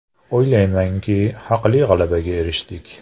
O‘ylaymanki, haqli g‘alabaga erishdik.